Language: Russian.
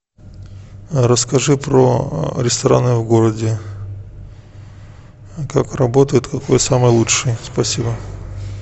расскажи про рестораны в городе как работают какой самый лучший спасибо